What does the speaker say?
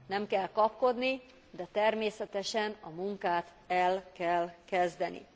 Nem kell kapkodni, de természetesen a munkát el kell kezdeni.